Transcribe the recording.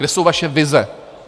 Kde jsou vaše vize?